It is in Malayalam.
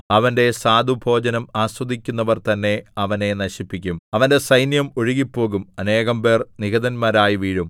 അവന്റെ സ്വാദുഭോജനം ആസ്വദിക്കുന്നവർ തന്നെ അവനെ നശിപ്പിക്കും അവന്റെ സൈന്യം ഒഴുകിപ്പോകും അനേകം പേർ നിഹതന്മാരായി വീഴും